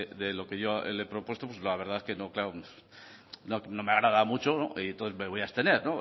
de lo que yo le he propuesto pues la verdad que no me agrada mucho y entonces me voy a abstener